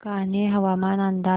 कान्हे हवामान अंदाज